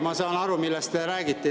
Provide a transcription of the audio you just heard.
Ma saan aru, millest te räägite.